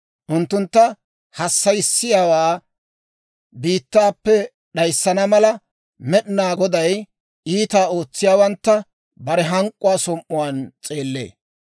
Unttuntta hassayissiyaawaa biittaappe d'ayissana mala, Med'inaa Goday iitaa ootsiyaawantta, bare hank'k'uwaa som"uwaan s'eellee.